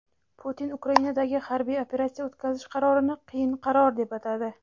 Putin Ukrainadagi harbiy operatsiya o‘tkazish qarorini "qiyin qaror" deb atadi.